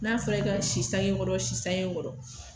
N'a fɔra i ka si sankɛ kɔrɔ, si sanke kɔrɔ.